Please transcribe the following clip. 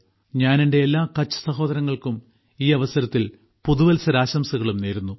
ഞാൻ എന്റെ എല്ലാ കച്ച് സഹോദരങ്ങൾക്കും ഈ അവസരത്തിൽ പുതുവത്സരാശംസകളും നേരുന്നു